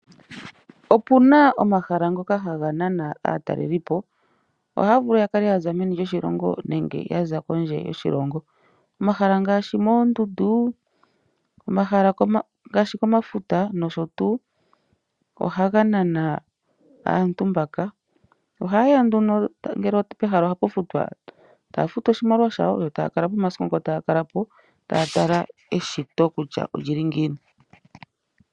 Opuna omahala ngoka ha ga nana aatalelipo, oha ya vulu ya kale ya za meni lyoshilongo nenge yaza kondje yoshilongo. Omahala ngaashi moondundu nenge komafuta, nosho tuu, oha ga nana aantu mbaka. Oha yeya nduno, ngele pehala oha pu futwa, ta ya futu nduno oshimaliwa shawo, yo ta ya kalapo omasiku gawo ngo taya kalapo, ta ya tala eshito kutya olyili ngiini.